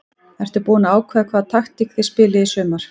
Ertu búin að ákveða hvaða taktík þið spilið í sumar?